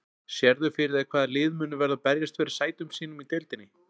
Sérðu fyrir þér hvaða lið munu verða að berjast fyrir sætum sínum í deildinni?